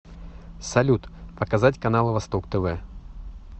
салют показать каналы восток тв